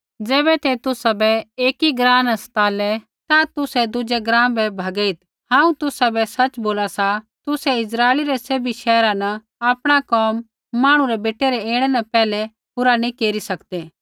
ज़ैबै ते तुसाबै एकी ग्राँ न सतालै ता तुसै दुज़ै ग्राँ बै भैगेईत् हांऊँ तुसाबै सच़ बोला सा तुसै इस्राइलै रै सैभी शैहरा न आपणा कोम मांहणु रै बेटै रै ऐणै न पैहलै पूरा नैंई केरी सकदै